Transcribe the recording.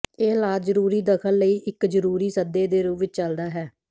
ਇਹ ਹਾਲਤ ਜ਼ਰੂਰੀ ਦਖਲ ਲਈ ਇਕ ਜ਼ਰੂਰੀ ਸੱਦੇ ਦੇ ਰੂਪ ਵਿੱਚ ਚੱਲਦਾ ਹੈ